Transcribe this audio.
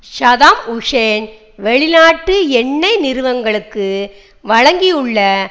Saddam Hussein வெளிநாட்டு எண்ணெய் நிறுவனங்களுக்கு வழங்கியுள்ள